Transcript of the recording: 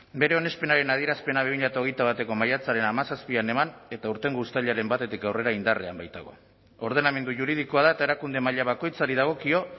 bere onespenaren adierazpena bi mila hogeita bateko maiatzaren hamazazpian eman eta aurtengo uztailaren batetik aurrera indarrean baitago ordenamendu juridikoa da eta erakunde maila bakoitzari dagokio